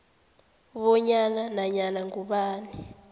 bonyana nanyana ngubani